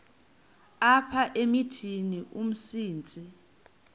apha emithini umsintsi